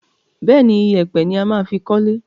Bẹ́ẹ̀ni, ìyẹ̀pẹ̀ ni a máa fi kọ́le.